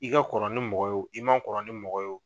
I ka kɔrɔ ni mɔgɔ ye i man kɔrɔ ni mɔgɔ ye